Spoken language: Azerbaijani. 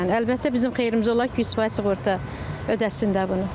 Əlbəttə, bizim xeyrimizə olar ki, 100% sığorta ödəsin də bunu.